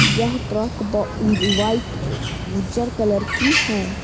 यह ट्रक व वाइट उजर कलर की है |